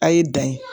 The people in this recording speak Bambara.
A' ye dan ye